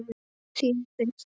Þín Birta.